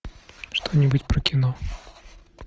что нибудь про кино